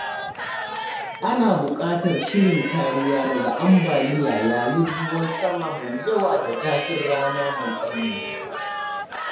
Ana bukatar shirin kariya daga ambaliya yayin ruwan sama mai yawa da zafin rana mai tsanani.